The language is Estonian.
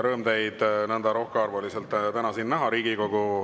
Rõõm teid nõnda rohkearvuliselt siin täna näha!